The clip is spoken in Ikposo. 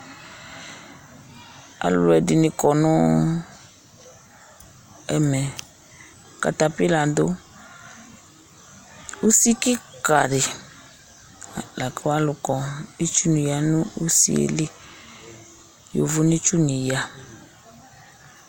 Alʊɛɖɩŋɩ ƙɔ ŋʊ ɛmɛ Ƙatapɩla ɖʊ Ʊsɩ ƙikaɖila Ƙalʊkɔ, ƙɩtsʊŋɩ ya ŋʊsɩélɩ, ƴovonɛtsʊŋɩ ƴa